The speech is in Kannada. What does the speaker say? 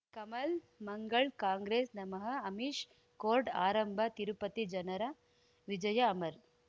ಕಮಲ್ ಮಂಗಳ್ ಕಾಂಗ್ರೆಸ್ ನಮಃ ಅಮಿಷ್ ಕೋರ್ಟ್ ಆರಂಭ ತಿರುಪತಿ ಜನರ ವಿಜಯ ಅಮರ್